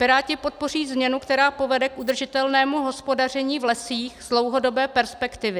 Piráti podpoří změnu, která povede k udržitelnému hospodaření v lesích z dlouhodobé perspektivy.